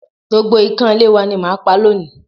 Gbogbo ikan ilé w ani màá pa lónìí